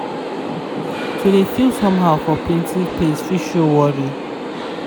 to de feel somehow for plenty place fit show worry.